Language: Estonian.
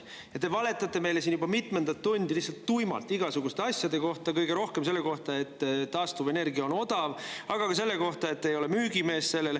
Ja te valetate meile siin juba mitmendat tundi lihtsalt tuimalt igasuguste asjade kohta, kõige rohkem selle kohta, et taastuvenergia on odav, aga ka selle kohta, et te ei ole selle müügimees.